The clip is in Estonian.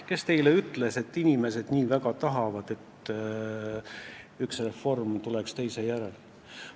Kes teile ütles, et inimesed nii väga tahavad, et üks reform tuleks teise järel?